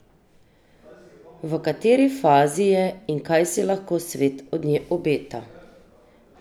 V kateri fazi je in kaj si lahko svet od nje obeta?